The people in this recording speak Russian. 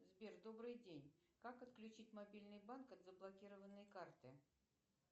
сбер добрый день как отключить мобильный банк от заблокированной карты